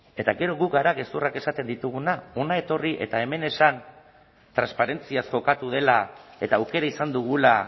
eta gero gu gara gezurrak esaten ditugunak hona etorri eta hemen esan transparentziaz jokatu dela eta aukera izan dugula